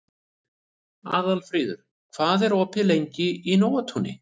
Aðalfríður, hvað er opið lengi í Nóatúni?